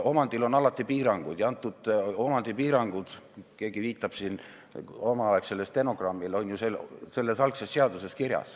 Omandil on alati piirangud ja need piirangud – keegi viitab siin omaaegsele stenogrammile – on ju selles algses seaduses kirjas.